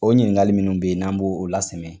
O ɲininkali minnu bɛ yen n'an b'o lasɛmɛ